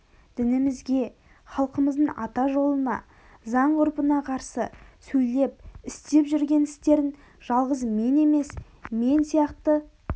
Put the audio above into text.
дінімізге халқымыздың ата жолына заң-ғұрпына қарсы сөйлеп істеп жүрген істерін жалғыз мен емес мен сияқты